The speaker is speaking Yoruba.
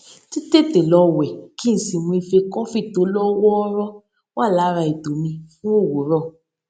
títètè lọ wè kí n sì mu ife kọfí tó lọ wọọrọ wà lára ètò mi fún òwúrọ